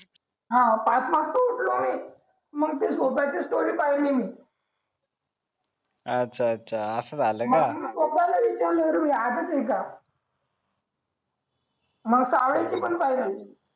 पाच वाजता उठलो मी मग ते सोप्याची स्टोरी पहिली मी अच्छा अच्छा अस झालं का मग कावळ्याची पण पहिली